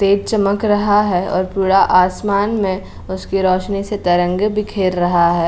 तेज चमक रहा है और पूरा आसमान में उसकी रोशनी से तरंगे बिखेर रहा है।